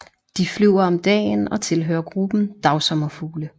De flyver om dagen og tilhører gruppen dagsommerfugle